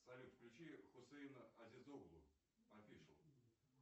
салют включи хусейна азизоглу афишу